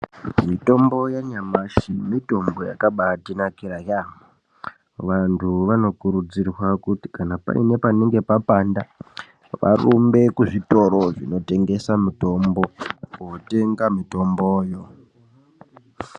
Mitombo yanyamashi mitombo yakabatinakira yaamho. Vantu vanokurudzirwa kuti kana paine panenge papanda varumbe kuzvitoro zvinotengesa mitombo kotenga mitomboyo.